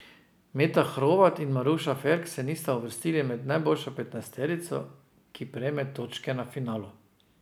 Meta Hrovat in Maruša Ferk se nista uvrstili med najboljšo petnajsterico, ki prejme točke na finalu.